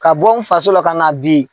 Ka bɔ n faso la ka na bi